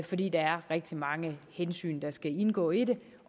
fordi der er rigtig mange hensyn der skal indgå i det